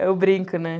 Eu brinco, né?